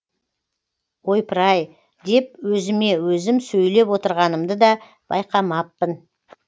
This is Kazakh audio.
ойпыр ай деп өзіме өзім сөйлеп отырғанымды да байқамаппын